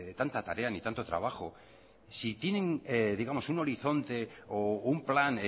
tanta tarea ni tanto trabajo si tienen digamos un horizonte o un plan